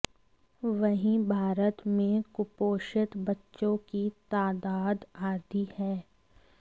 वहीं भारत में कुपोषित बच्चों की तादाद आधी है